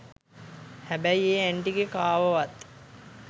හැබැයි ඒ ඇන්ටිගෙ කාවවත්